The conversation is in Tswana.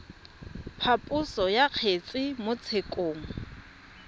phaposo ya kgetse mo tshekong